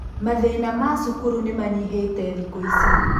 Mathĩna ma cukuru nĩmanyihĩte thikũ ici.